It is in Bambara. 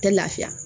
Tɛ lafiya